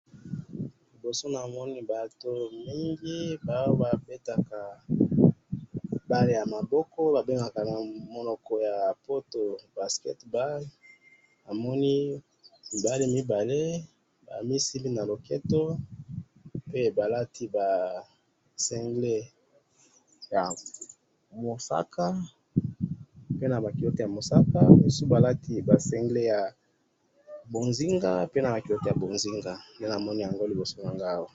liboso namoni batu mingi babetaka balle ya maboko babengaka namonoko ya poto basketball, namoni mibali mibale bamisimbi na loketo, pe balati ba cingles ya mosaka, pe naba culottes ya mosaka, mususu balati ba cingles ya bozinga, pe naba culottes ya bozinga, nde namoni yango liboso nangai awa